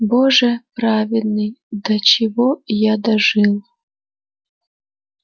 боже праведный до чего я дожил